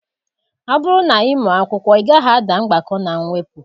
Ọ bụrụ na ị mụọ akwụkwọ, ị gaghị ada mgbakọ na mwepụ